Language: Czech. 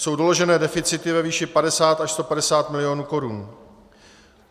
Jsou doloženy deficity ve výši 50 až 150 mil. korun.